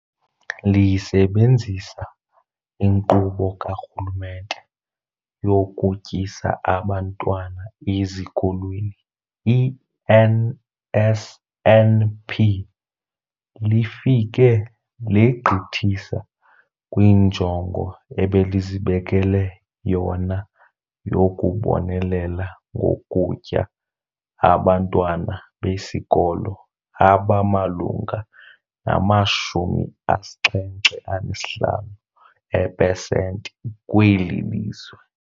Lisebenzisa iNkqubo kaRhulumente yokuTyisa Abantwana Ezikolweni, i-NSNP, lifike legqithisa kwinjongo ebelizibekele yona yokubonelela ngokutya abantwana besikolo abamalunga nama-75 eepesenti kweli lizwe.